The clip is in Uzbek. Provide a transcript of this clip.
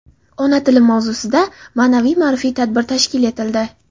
Ona tilim mavzusida ma’naviy-ma’rifiy tadbir tashkil etildi.